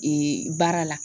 baara la.